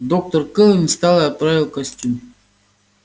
доктор кэлвин встала и оправила костюм